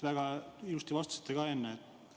Väga ilusti vastasite ka enne.